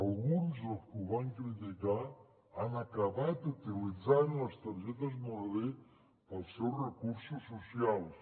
alguns dels que ho van criticar han acabat utilitzant les targetes moneder per als seus recursos socials